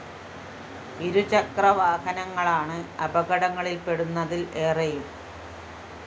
ഇരുചക്ര വാഹനങ്ങളാണ് അപകടങ്ങളില്‍പ്പെടുന്നതില്‍ ഏറെയും